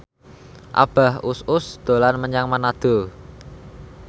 Abah Us Us dolan menyang Manado